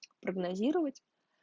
прогнозировать